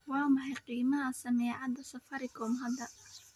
waa maxay qiimaha saamiyada safaricom hadda